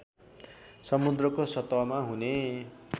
समुद्रको सतहमा हुने